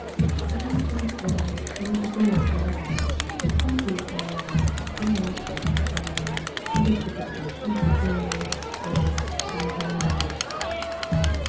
N'ụzọ um megidere nke ahụ, ọ dị um anyị mkpa um igosipụta njide onwe onye n'ihe nile.